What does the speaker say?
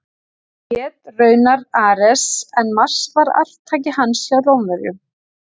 Hann hét raunar Ares en Mars var arftaki hans hjá Rómverjum.